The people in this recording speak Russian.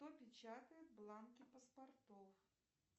кто печатает бланки паспортов